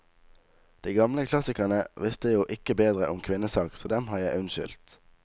De gamle klassikerne visste jo ikke bedre om kvinnesak, så dem har jeg unnskyldt.